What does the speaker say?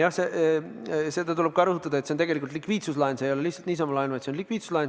Jah, seda tuleb ka rõhutada, et see on tegelikult likviidsuslaen – see ei ole lihtsalt niisama laen, vaid likviidsuslaen.